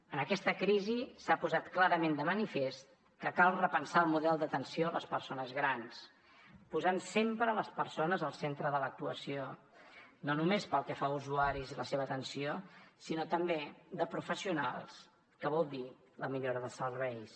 en aquesta crisi s’ha posat clarament de manifest que cal repensar el model d’atenció a les persones grans posant sempre les persones al centre de l’actuació no només pel que fa a usuaris i la seva atenció sinó també de professionals que vol dir la millora de serveis